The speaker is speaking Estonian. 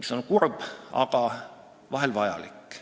mis on kurb, aga vahel vajalik.